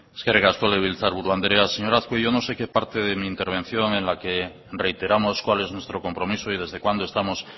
eskerrik asko legebiltzarburu andrea señor azkue yo no sé qué parte de mi intervención en la que reiteramos cuál es nuestro compromiso y desde cuando estamos